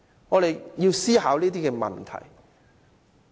我們要思考這些問題。